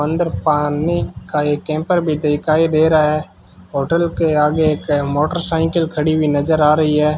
अंदर पानी का एक कैंपर भी दिखाई दे रहा है होटल के आगे एक मोटरसाइकिल खड़ी हुई नजर आ रही है।